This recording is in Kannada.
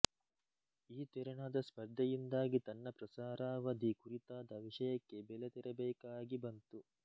ಈ ತೆರನಾದ ಸ್ಪರ್ಧೆಯಿಂದಾಗಿ ತನ್ನ ಪ್ರಸಾರಾವಧಿ ಕುರಿತಾದ ವಿಷಯಕ್ಕೆ ಬೆಲೆ ತೆರಬೇಕಾಗಿ ಬಂತು